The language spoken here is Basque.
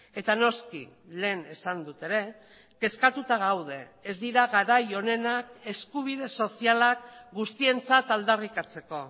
eta noski lehen esan dut ere kezkatuta gaude ez dira garai onenak eskubide sozialak guztientzat aldarrikatzeko